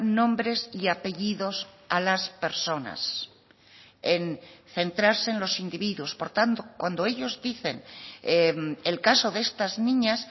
nombres y apellidos a las personas en centrarse en los individuos por tanto cuando ellos dicen el caso de estas niñas